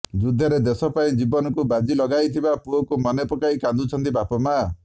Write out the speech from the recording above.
ଯୁଦ୍ଧରେ ଦେଶପାଇଁ ଜୀବନକୁ ବାଜି ଲଗାଇଥିବା ପୁଅକୁ ମନେପକାଇ କାନ୍ଦୁଛନ୍ତି ବାପାମା